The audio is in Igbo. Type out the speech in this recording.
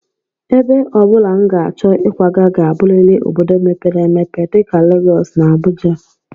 Ebe ọ bụla m ga-achọ ịkwaga ga-abụrịrị obodo mepere emepe dịka Legọs na Abuja